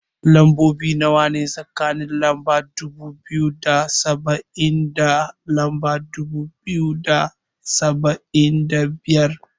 Lambobi nawa ne, a tsakanin lamba dubu biyu da saba'in da lamba dubu biyu da saba'in da biyar?